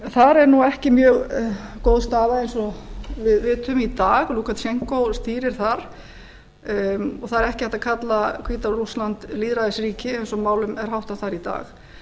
þar er nú ekki mjög góð staða eins og við vitum í dag lúkasjenkó stýrir þar það er ekki hægt að kalla hvíta rússland lýðræðisríki eins og málum er háttað þar í dag